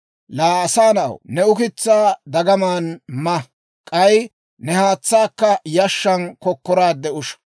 «Laa asaa na'aw, ne ukitsaa dagaman ma; k'ay ne haatsaakka yashshaan kokkoraadde usha.